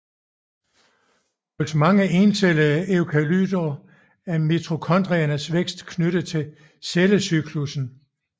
Hos mange encellede eukaryoter er mitokondriernes vækst knyttet til cellecyklussen